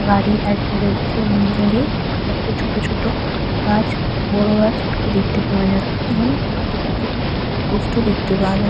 গাড়ি দাঁড়িয়ে রয়েছে দূরে ছোট ছোট গাছ বড় গাছ দেখতে পাওয়া যাচ্ছে এবং একটি পোস্ট -ও দেখতে পাও --